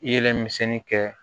Yelen misɛnnin kɛ